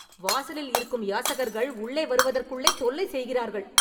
வாசலில் இருக்கும் யாசகர்கள் உள்ளே வருவதற்குள்ளே தொல்லை செய்கிறார்கள்